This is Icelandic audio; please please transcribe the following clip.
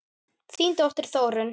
Þín dóttir, Þórunn.